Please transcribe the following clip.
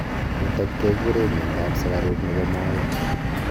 nitok kegurei miando ap sugaruk nebo maet